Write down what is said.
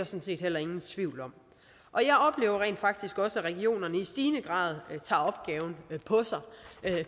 set heller ingen tvivl om jeg oplever rent faktisk også at regionerne i stigende grad tager opgaven på sig